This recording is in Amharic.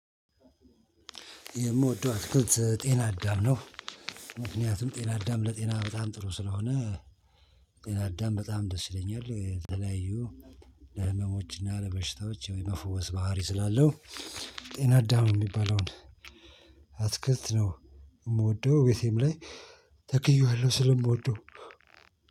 የምወደው ጤናዳም ነው። ምክንያቱም ጤናዳም ለጤና በጣም ጥሩ ስለሆነ። ጤናዳም በጣም ደስ ይለኛል። የተለያዩ ለህመሞች እና ለበሽታዎች የመፈወስ ባህሪ ስላለው። ጤናዳም የሚባለውን አትክልት ነው። የምወደው ቤቴም ላይ ተክዬዋለሁ ስለምወደው